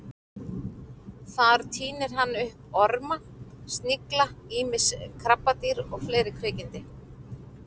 Þar tínir hann upp orma, snigla, ýmis krabbadýr og fleiri kvikindi.